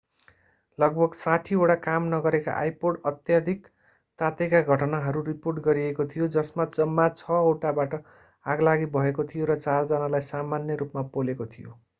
लगभग 60 वटा काम नगरेका आइपोड अत्यधिक तातेका घटनाहरू रिपोर्ट गरिएको थियो जसमा जम्मा छ वटाबाट आगलागी भएको थियो र चार जनालाई सामान्य रूपमा पोलेको थियो